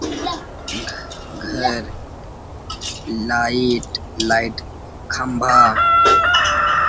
घर light light खम्बा --